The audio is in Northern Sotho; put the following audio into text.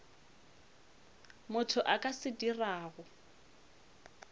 motho a ka se dirago